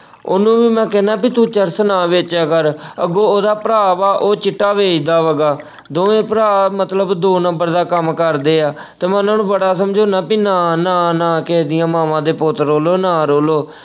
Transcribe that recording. ਉਹਨੂੰ ਵੀ ਮੈਂ ਕਹਿਣਾ ਵੀ ਤੂੰ ਚਰਸ ਨਾ ਵੇਚਿਆ ਕਰ, ਅੱਗੋਂ ਉਹਦਾ ਭਰਾ ਵਾ ਉਹ ਚਿੱਟਾ ਵੇਚਦਾ ਵਾ ਗਾ। ਦੋਵੇਂ ਭਰਾ ਮਤਲਬ ਦੋ ਨੰਬਰ ਦਾ ਕੰਮ ਕਰਦੇ ਆ, ਤੇ ਮੈਂ ਉਹਨਾਂ ਨੂੰ ਬੜਾ ਸਮਝਾਉਣਾ ਕਿ ਨਾ, ਨਾ ਨਾ ਕਿਸੇ ਦੀਆਂ ਮਾਵਾਂ ਦੇ ਪੁੱਤ ਰੋਲੋ, ਨਾ ਰੋਲੋ।